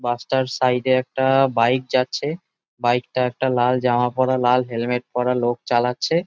বাস -টার সাইড -এ একটা-আ বাইক যাচ্ছে বাইক -টা একটা লাল জামা পড়া লাল হেলমেট পড়া লোক চালাচ্ছে ।